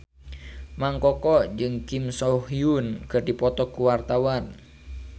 Mang Koko jeung Kim So Hyun keur dipoto ku wartawan